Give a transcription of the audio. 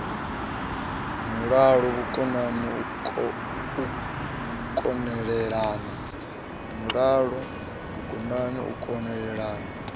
mulalo vhukonani u kon elelana